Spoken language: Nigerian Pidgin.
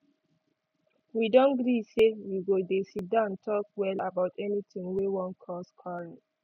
we don gree say we go dey siddan talk well about anything wey wan cause quarrel